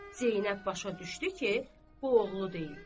Zeynəb başa düşdü ki, bu oğlu deyil.